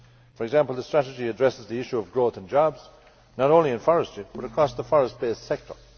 For example, the strategy addresses the issue of growth and jobs, not only in forestry but across the forest based sector.